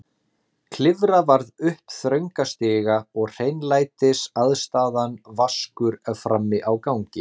Klifra varð upp þrönga stiga og hreinlætisaðstaðan vaskur frammi á gangi.